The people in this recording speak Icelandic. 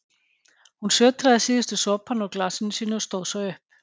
Hún sötraði síðustu sopana úr glasinu sínu og stóð svo upp.